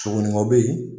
Sogominɛnw bɛ ye